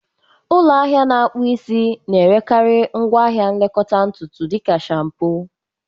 Ụlọ ahịa na-akpụ isi na-erekarị ngwa ahịa nlekọta ntutu dị ka shaampoo